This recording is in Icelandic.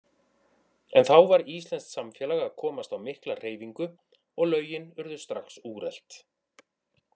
En þá var íslenskt samfélag að komast á mikla hreyfingu, og lögin urðu strax úrelt.